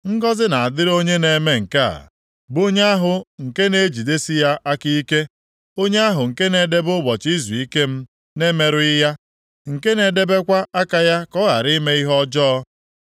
Ngọzị na-adịrị onye na-eme nke a, bụ onye ahụ nke na-ejidesi ya aka ike, onye ahụ nke na-edebe ụbọchị izuike m na-emerụghị ya, nke na-edebekwa aka ya ka ọ ghara ime ihe ọjọọ.”